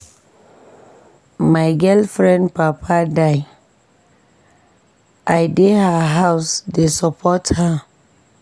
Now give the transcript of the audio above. My girlfriend papa die, I dey her house dey support her.